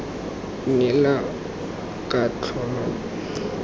neela katlholo k g r